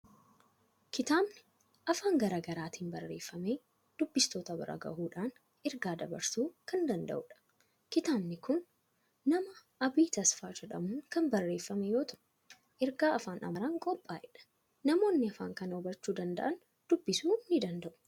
Kitaabni afaan garaa garaatiin barreeffamee dubbistoota bira gahuudhaan ergaa dabarsuu kan danda'udha. Kitaabni kun nama Abii Tasfaa jedhamuun kan barreeffame yoo ta'u, ergaa afaan Amaaraan qophaa'edha. Namoonni afaan kana hubachuu danda'an dubbisuu ni danda'u.